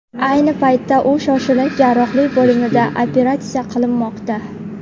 Ayni paytda u shoshilinch jarrohlik bo‘limida operatsiya qilinmoqda.